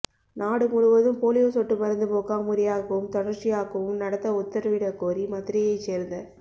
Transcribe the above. நாடு முழுவதும் போலியோ சொட்டு மருந்து முகாம் முறையாகவும் தொடர்ச்சியாகவும் நடத்த உத்தரவிடக் கோரி மதுரையைச் சேர்ந்த